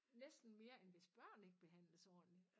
Næsten mere end hvis børn ikke behandles ordentlig